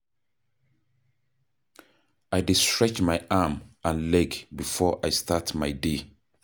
I dey stretch my arm and leg before I start my day.